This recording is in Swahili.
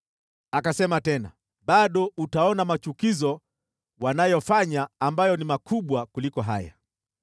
Akasema tena, “Bado utaona machukizo wanayofanya ambayo ni makubwa kuliko haya.”